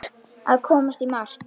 Að komast í mark